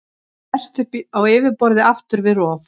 Það berst upp á yfirborðið aftur við rof.